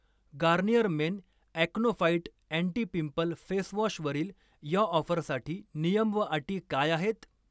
Garnier men acno fight anti pimple फेसवॉशवरील या ऑफरसाठी नियम व अटी काय आहेत?